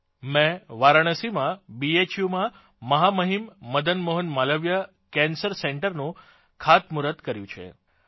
મૈં વારાણસીમાં બીએચયુમાં મહામહીમ મદન મોહન માલવીય કેન્સર સેન્ટરનું ખાતમુહૂર્ત ભૂમિપૂજન કર્યું છે